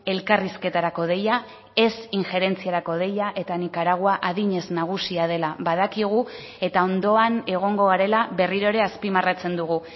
elkarrizketarako deia ez injerentziarako deia eta nikaragua adinez nagusia dela badakigu eta ondoan egongo garela berriro ere azpimarratzen dugu